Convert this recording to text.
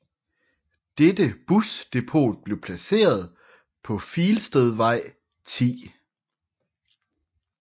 Dette busdepot blev placeret på Filstedvej 10